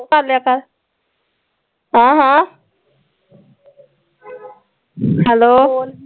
ਕਰਲਿਆ ਕਰ ਹਾਂ ਹਾਂ ਹੈਲੋ